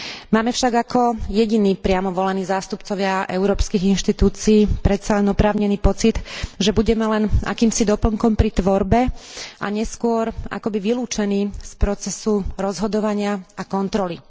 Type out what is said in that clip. Máme však ako jediní priamo volení zástupcovia európskych inštitúcií predsa len oprávnený pocit, že budeme len akýmsi doplnkom pri tvorbe a neskôr akoby vylúčení z procesu rozhodovania a kontroly.